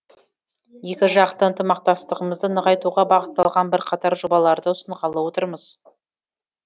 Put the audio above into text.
екіжақты ынтымақтастығымызды нығайтуға бағытталған бірқатар жобаларды ұсынғалы отырмыз